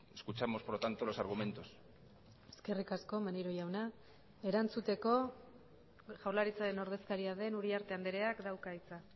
escuchamos por lo tanto los argumentos eskerrik asko maneiro jauna erantzuteko jaurlaritzaren ordezkaria den uriarte andreak dauka hitza